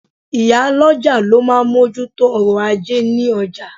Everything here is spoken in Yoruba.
Ìyálọ́jà ló máa ń moju tó ọ̀rọ̀ ajé ní ọjà